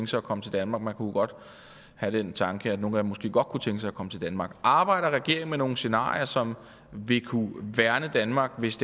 sig at komme til danmark man kunne godt have den tanke at nogle af dem måske godt kunne tænke sig at komme til danmark arbejder regeringen med nogle scenarier som vil kunne værne danmark hvis